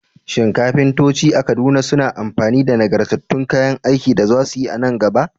Shin kafintoci a Kaduna za su yi amfani da nagartattun kayan aikin da za su yi a nan gaba?